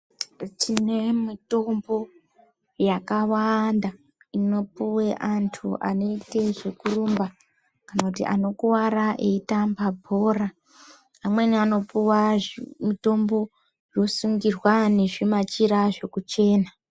Tine mutombo yakawanda inopuwa antu anoita zvekurumba kana kuti anokuwara eitamba bhora amweni anopuwa mutombo zvosungirwa nezvimachira zvekuchena.